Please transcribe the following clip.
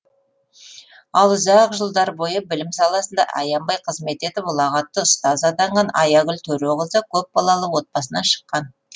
ал ұзақ жылдар бойы білім саласында аянбай қызмет етіп ұлағатты ұстаз атанған аягүл төреқызы көпбалалы отбасынан шыққан